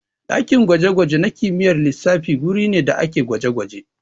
Ɗakin gwaje-gwaje na kimiyyar lissafi guri ne da ake gwaje-gwaje.